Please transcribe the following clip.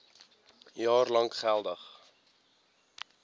jaar lank geldig